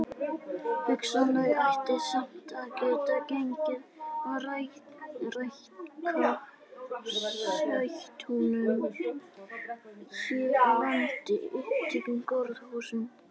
Hugsanlega ætti samt að geta gengið að rækta sætuhnúða hér á landi í upphituðum gróðurhúsum.